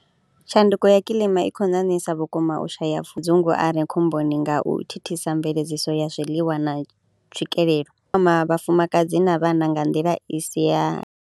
Tshanduko ya kilima i khou ṋaṋisa vhukuma u shaya pfhudzunguwane khomboni nga u thithisa mveledziso ya zwiḽiwa na tswikelelo, vhafumakadzi na vhana nga nḓila i si ya.